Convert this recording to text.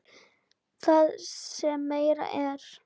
Það sem meira er.